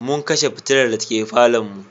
Mun kashe fitilar dake falonmu.